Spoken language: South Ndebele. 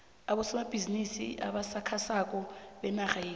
abosomabhizimisi abasakhasako benarha yekhethu